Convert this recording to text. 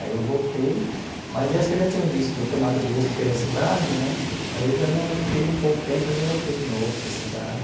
Aí eu voltei, mas acho que eu já tinha visto, tomado gosto pela cidade né, aí eu já não fiquei um pouco tempo, aí já voltei de novo para a cidade.